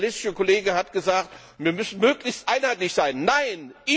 Der sozialistische Kollege hat gesagt, wir müssten möglichst einheitlich sein. Nein!